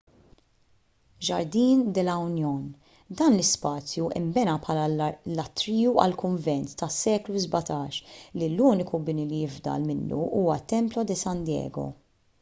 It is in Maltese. jardín de la unión. dan l-ispazju nbena bħala l-atriju għal kunvent tas-seklu 17 li l-uniku bini li jifdal minnu huwa t-templo de san diego